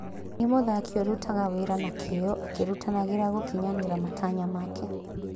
Nĩ mũthaki ũrutaga wĩra na kĩo akĩrutanagĩria gũkinyanĩria matanya make.